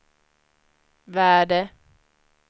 värde